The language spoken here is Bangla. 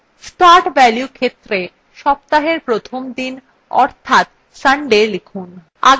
start value ক্ষেত্রে সপ্তাহের প্রথম দিন অর্থাৎ sunday লিখুন